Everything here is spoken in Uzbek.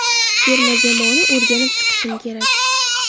Terma jamoani o‘rganib chiqishim kerak.